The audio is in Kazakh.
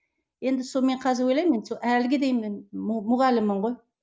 енді соны мен қазір ойлаймын енді сол әліге дейін мен мұғаліммін ғой